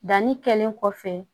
Danni kɛlen kɔfɛ